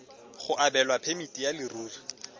go abelwa phemiti ya leruri